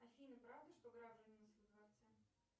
афина правда что граф женился во дворце